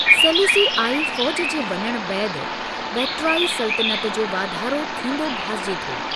सेलूसीआई फ़ौज जे वञणु बैदि, बक्ट्रियाई सल्तनति जो वाधारो थींदो भासिजे थो।